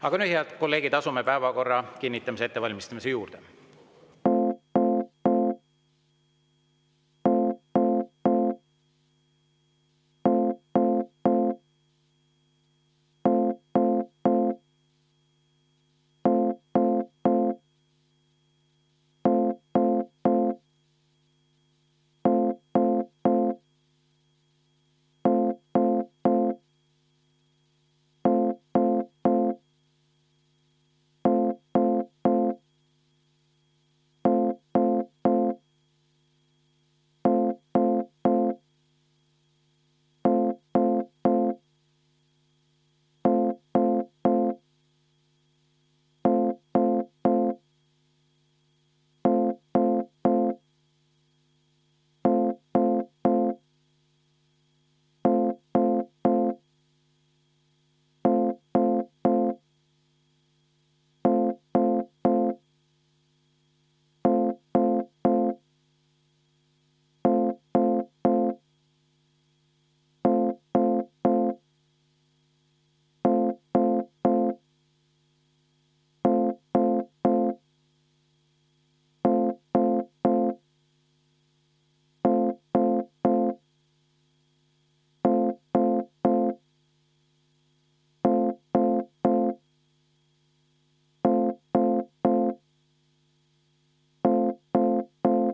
Aga nüüd, head kolleegid, asume päevakorra kinnitamise ettevalmistamise juurde.